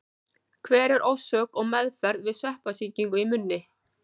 Hver er orsök og meðferð við sveppasýkingar í munni?